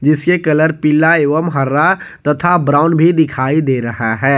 Colour पीला एवं हरा तथा ब्राउन भी दिखाई दे रहा है।